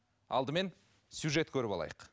алдымен сюжет көріп алайық